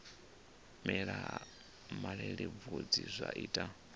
mela ha malelebvudzi zwa ita